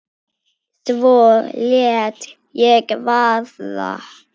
Svo lét ég vaða.